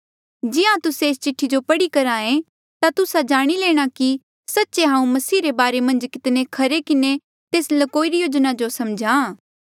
जिहां तुस्से एस्सा चिठ्ठी जो पढ़ी करहे ता तुस्सा जाणी लेणा कि सच्चे हांऊँ मसीह रे बारे मन्झ कितने खरे किन्हें तेस ल्कोई री योजना जो समझ्हा